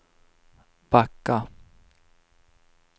backa